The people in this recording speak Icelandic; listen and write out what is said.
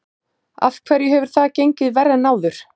Af hverju hefur það gengið verr en áður?